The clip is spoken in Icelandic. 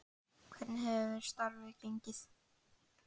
En hvernig hefur starfið gengið?